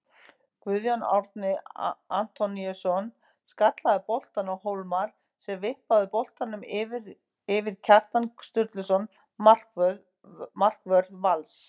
Guðjón Árni Antoníusson skallaði boltann á Hólmar sem vippaði boltanum yfir Kjartan Sturluson markvörð Vals.